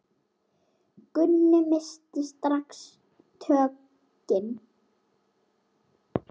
Gunni missti strax tökin.